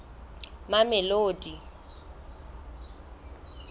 mamelodi